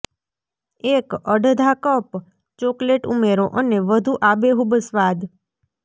એક અડધા cup chocolate ઉમેરો અને વધુ આબેહૂબ સ્વાદ